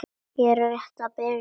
Þetta er rétt að byrja.